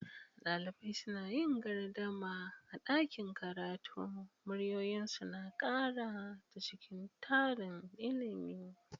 Dalibai suna yin gardama a ɗakin karatu, muryoyinsu suna ƙara ta cikin tarin ilimin.